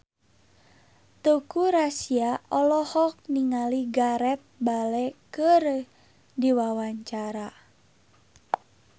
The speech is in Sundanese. Teuku Rassya olohok ningali Gareth Bale keur diwawancara